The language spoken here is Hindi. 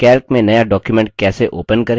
calc में नया document कैसे open करें